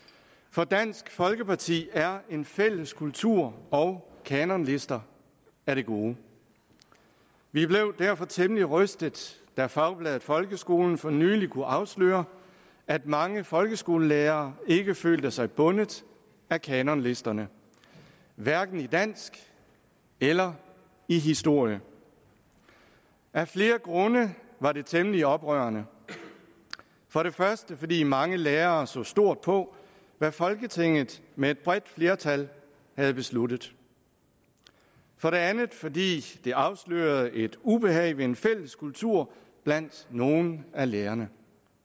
for dansk folkeparti er en fælles kultur og kanonlister af det gode vi blev derfor temmelig rystet da fagbladet folkeskolen for nylig kunne afsløre at mange folkeskolelærere ikke følte sig bundet af kanonlisterne hverken i dansk eller i historie af flere grunde var det temmelig oprørende for det første fordi mange lærere så stort på hvad folketinget med et bredt flertal havde besluttet for det andet fordi det afslørede et ubehag ved en fælles kultur blandt nogle af lærerne